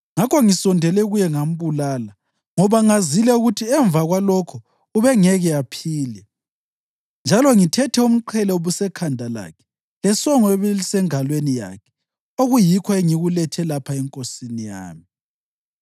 Ngakho ngisondele kuye ngambulala, ngoba ngazile ukuthi emva kwalokho ubengeke aphile. Njalo ngithethe umqhele obusekhanda lakhe lesongo ebelisengalweni yakhe okuyikho engikulethe lapha enkosini yami.”